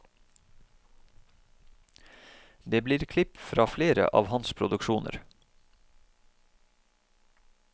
Det blir klipp fra flere av hans produksjoner.